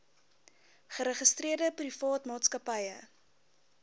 geregistreerde privaat maatskappye